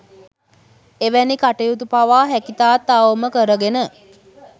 එවැනි කටයුතු පවා හැකිතාක් අවම කරගෙන